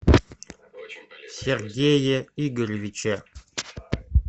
сергее игоревиче